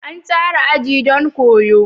An tsara aji don koyo.